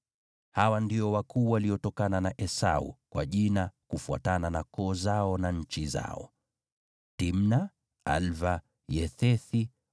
Hawa ndio wakuu waliotokana na Esau, kwa majina, kufuatana na koo zao na nchi zao: Timna, Alva, Yethethi,